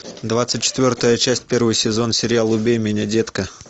двадцать четвертая часть первый сезон сериал убей меня детка